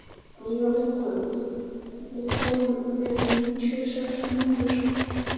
Víóletta, ég kom með níutíu og sex húfur!